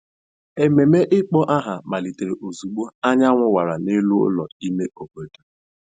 Ememe ịkpọ aha malitere ozugbo anyanwụ wara n’elu ụlọ ime obodo.